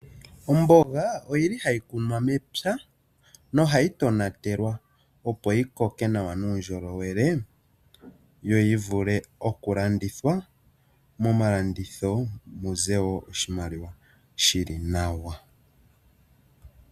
Omboga ohayi kunwa mepya nohayi tonatelwa, opo yi koke nawa nuundjolowele yo yi vule okulandithwa momalanditho muze oshimaliwa shi li nawa.